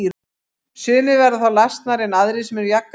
Sumir verða þá lasnari en aðrir sem eru jafngamlir.